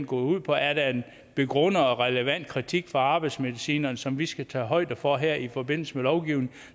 går ud på er der en begrundet og relevant kritik fra arbejdsmedicinerne som vi skal tage højde for her i forbindelse med lovgivningen